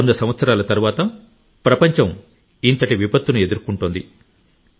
వంద సంవత్సరాల తరువాత ప్రపంచం ఇంతటి విపత్తును ఎదుర్కొంటోంది